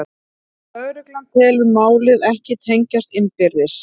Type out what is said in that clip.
Lögregla telur málin ekki tengjast innbyrðis